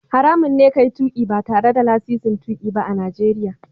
Haramun ne ka yi tuƙi ba tare da lasisin tuƙi ba a Najeriya.